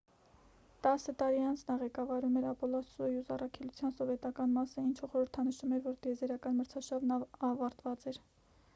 տասը տարի անց նա ղեկավարում էր ապոլլո-սոյուզ առաքելության սովետական մասը ինչը խորհրդանշում էր որ տիեզերական մրցարշավն ավարտված էր